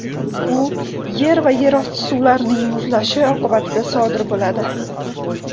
U yer va yerosti suvlarning muzlashi oqibatida sodir bo‘ladi.